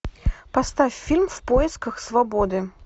поставь фильм в поисках свободы